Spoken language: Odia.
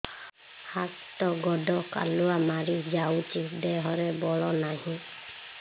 ହାତ ଗୋଡ଼ କାଲୁଆ ମାରି ଯାଉଛି ଦେହରେ ବଳ ନାହିଁ